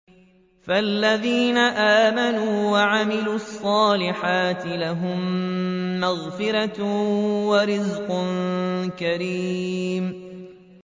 فَالَّذِينَ آمَنُوا وَعَمِلُوا الصَّالِحَاتِ لَهُم مَّغْفِرَةٌ وَرِزْقٌ كَرِيمٌ